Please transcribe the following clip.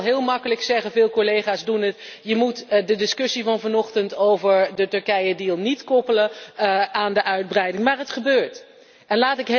We kunnen wel heel gemakkelijk zeggen en veel collega's doen dat dat je de discussie van vanochtend over de Turkije deal niet moet koppelen aan de uitbreiding, maar toch gebeurt het.